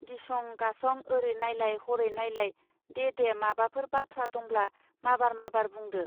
गिसं गासं आरै नायलाय हरै नायलाय दे दे माबाफोर बाथ्रा दंब्ला माबार माबार बुंदो